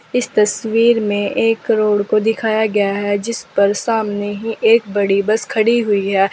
इस तस्वीर में एक रोड को दिखाया गया है जिस पर सामने ही एक बड़ी बस खड़ी हुई है।